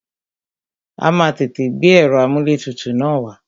A má a tètè gbé ẹ̀rọ amúlẹ̀tutù na wá.